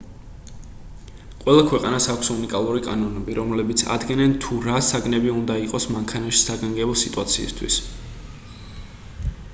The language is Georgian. ყველა ქვეყანას აქვს უნიკალური კანონები რომლებიც ადგენენ თუ რა საგნები უნდა იყოს მანქანაში საგანგებო სიტუაციისთვის